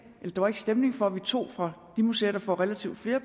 der var ikke stemning for at vi tog fra de museer der får relativt flere